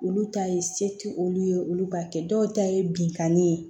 Olu ta ye se tɛ olu ye olu b'a kɛ dɔw ta ye binkani ye